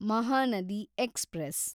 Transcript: Mahanadi express